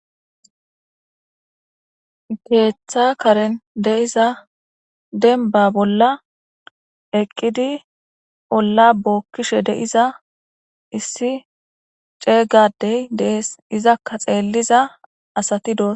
Keetha karen diza demba bolla eqqidi, olla bookiza issi ceega addey dees. izaka xeelliza asati doosona.